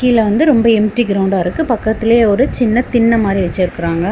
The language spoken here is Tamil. இதுல வந்து ரொம்ப எம்டி கிரவுண்டா இருக்கு பக்கத்திலேயே ஒரு சின்ன தின்ன மாரி வச்சிருக்காங்க.